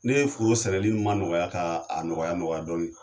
Ne ye foro sɛnɛli ma nɔgɔya ka nɔgɔya nɔgɔya dɔɔnin